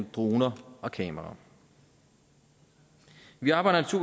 droner og kameraer vi arbejder